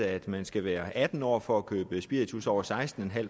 at man skal være atten år for at købe spiritus med over seksten